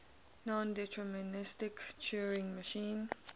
nondeterministic turing machine